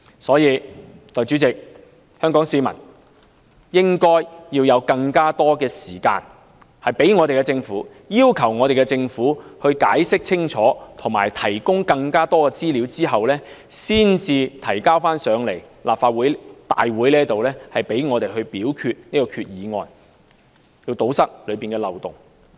代理主席，所以，香港市民應有更多時間，要求政府解釋清楚及提供更多資料，然後才把擬議決議案提交立法會讓我們表決，從而堵塞當中的漏洞。